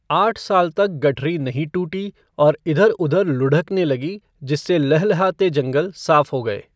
आठ साल तक गठरी नहीं टूटी और इधर उधर लुढ़कने लगी जिससे लहलहाते जंगल साफ हो गए।